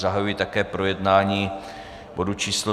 Zahajuji také projednání bodu číslo